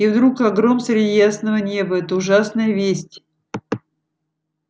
и вдруг как гром среди ясного неба эта ужасная весть